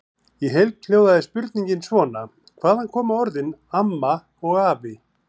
Í heild hljóðaði spurningin svona: Hvaðan koma orðin AMMA og AFI?